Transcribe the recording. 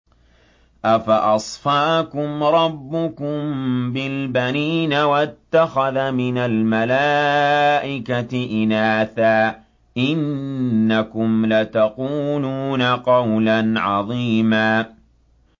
أَفَأَصْفَاكُمْ رَبُّكُم بِالْبَنِينَ وَاتَّخَذَ مِنَ الْمَلَائِكَةِ إِنَاثًا ۚ إِنَّكُمْ لَتَقُولُونَ قَوْلًا عَظِيمًا